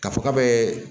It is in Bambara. K'a fɔ k'a bɛ